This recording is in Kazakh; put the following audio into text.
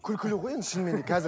күлкілі ғой енді шынымен де қазір